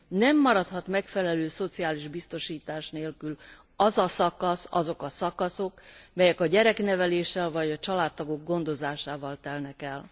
Nem maradhat megfelelő szociális biztosítás nélkül az a szakasz, azok a szakaszok, melyek a gyerekneveléssel vagy a családtagok gondozásával telnek el.